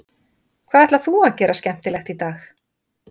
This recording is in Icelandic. Hvað ætlar þú að gera skemmtilegt í dag?